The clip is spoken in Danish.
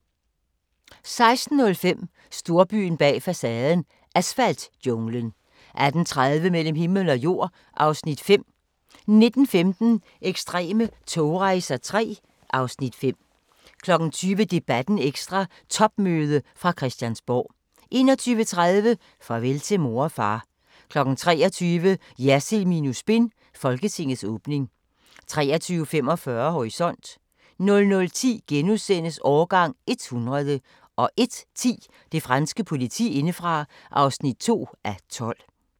16:05: Storbyen bag facaden – asfaltjunglen 18:30: Mellem himmel og jord (Afs. 5) 19:15: Ekstreme togrejser III (Afs. 5) 20:00: Debatten ekstra: Topmøde fra Christiansborg 21:30: Farvel til mor og far 23:00: Jersild minus spin: Folketingets åbnning 23:45: Horisont 00:10: Årgang 100 * 01:10: Det franske politi indefra (2:12)